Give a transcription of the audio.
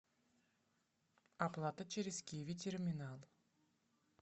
оплата через киви терминал